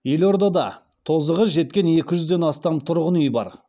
елордада тозығы жеткен екі жүзден астам тұрғын үй бар